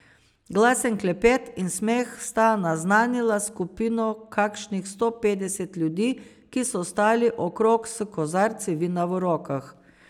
Glasen klepet in smeh sta naznanila skupino kakšnih sto petdesetih ljudi, ki so stali okrog s kozarci vina v rokah.